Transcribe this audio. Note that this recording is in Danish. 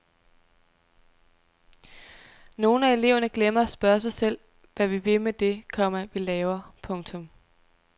Nogle af eleverne glemmer at spørge sig selv hvad vi vil med det, komma vi laver. punktum